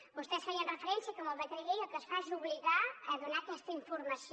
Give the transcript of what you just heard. vostès feien referència que amb el decret llei el que es fa és obligar a donar aquesta informació